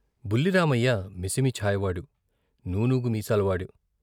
బుల్లి రామయ్య మిసిమి ఛాయవాడు నూనూగు మీసాలవాడు.